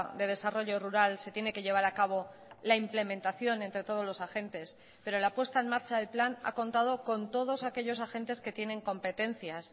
de desarrollo rural se tiene que llevar a cabo la implementación entre todos los agentes pero la apuesta en marcha del plan ha contado con todos aquellos agentes que tienen competencias